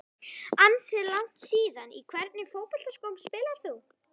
Ansi langt síðan Í hvernig fótboltaskóm spilar þú?